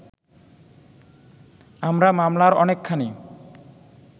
আমরা মামলার অনেকখানি